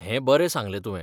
हें बरें सांगलें तुवें.